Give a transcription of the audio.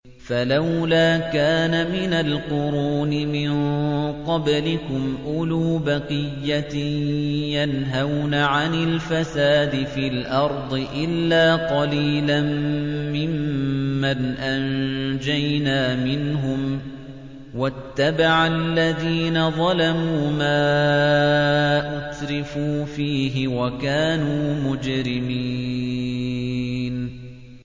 فَلَوْلَا كَانَ مِنَ الْقُرُونِ مِن قَبْلِكُمْ أُولُو بَقِيَّةٍ يَنْهَوْنَ عَنِ الْفَسَادِ فِي الْأَرْضِ إِلَّا قَلِيلًا مِّمَّنْ أَنجَيْنَا مِنْهُمْ ۗ وَاتَّبَعَ الَّذِينَ ظَلَمُوا مَا أُتْرِفُوا فِيهِ وَكَانُوا مُجْرِمِينَ